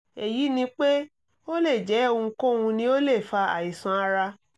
èyí ni pé ó lè jẹ́ ohunkóhun ni ó lè fa àìsàn ara